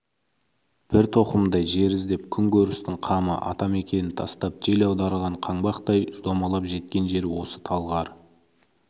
бір тоқымдай жер іздеп күн көрістің қамы ата-мекенін тастап жел аударған қаңбақтай домалап жеткен жері осы талғар